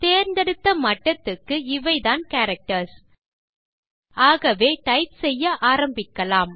தேர்ந்தெடுத்த மட்டத்துக்கு இவைதான் கேரக்டர்ஸ் ஆகவே டைப் செய்ய ஆரம்பிக்கலாம்